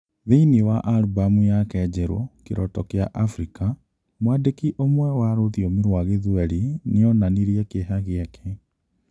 Thĩinĩ wa albumu yake njerũ "kĩroto kia Afrika" Mwandĩki ũmwe wa rũthiomi rwa Gĩthwaĩri nĩ onanirie kĩeha gĩake.